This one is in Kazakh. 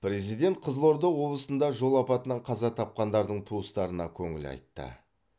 президент қызылорда облысында жол апатынан қаза тапқандардың туыстарына көңіл айтты